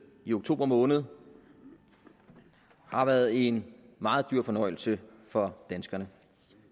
i oktober måned har været en meget dyr fornøjelse for danskerne